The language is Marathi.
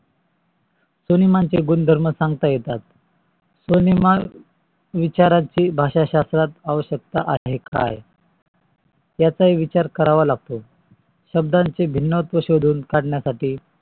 स्व्नेमांचे गुणधर्म सांगता येतेत स्वनेमाचे विचाराची भाषा शास्त्र अवशक्ता आहे काय? याचा ही विचार करावा लागतो. शब्दाचे भिन्नत्व शोधून काढण्य साठी